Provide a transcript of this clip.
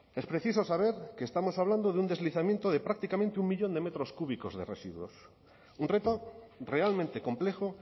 es preciso saber que estamos hablando de un deslizamiento de prácticamente un millón de metros cúbicos de residuos un reto realmente complejo